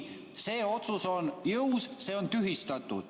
See otsus on jõus, et see on tühistatud.